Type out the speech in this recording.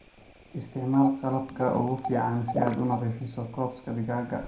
Isticmaal qalabka ugu fiican si aad u nadiifiso cops digaagga.